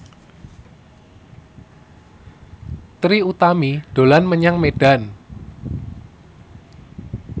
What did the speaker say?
Trie Utami dolan menyang Medan